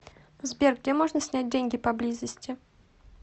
сбер где можно снять деньги поблизости